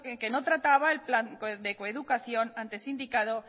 que no trataba el plan de coeducación antes indicado